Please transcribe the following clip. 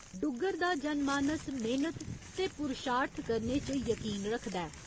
डुग्गर दा जनमानस मेह्‌नत ते पुरशार्थ करने च यकीन रखदा ऐ।